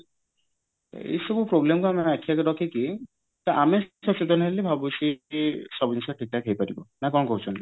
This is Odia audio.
ଏଇ ସବୁ problem କୁ ଆମେ ଆଖି ଆଗରେ ରଖିକି ତ ଆମେ ସବୁ ଜିନିଷ ଠିକ ଠାକ ହେଇପାରିବ ନା କଣ କହୁଛନ୍ତି